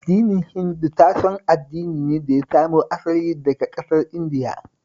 Addinin Hindu tashon addini ne da ya samo asali daka ƙasar Indiya